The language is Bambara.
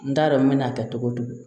N t'a dɔn n mɛ n'a kɛ cogo o cogo